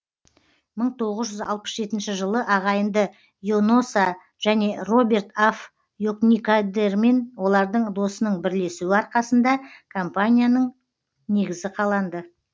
мың тоғыз жүз алпыс жетінші жылы ағайынды йонасо және роберт аф йокникадермен олардың досының бірлесуі арқасында компанияның негізі қаланды